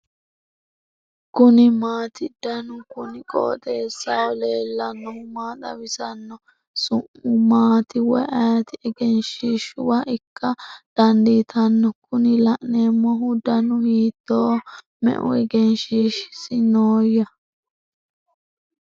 kuni maati ? danu kuni qooxeessaho leellannohu maa xawisanno su'mu maati woy ayeti ? egenshshiishuwa ikka dandiitanno kuni la'neemmohu danu hiittoho me'u egenshshiishsi nooyya ?